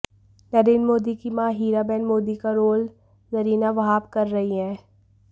नरेंद्र मोदी की मां हीराबेन मोदी का रोल जरीना वहाब कर रही हैं